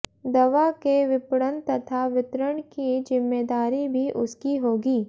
दवा के विपणन तथा वितरण की जिम्मेदारी भी उसकी होगी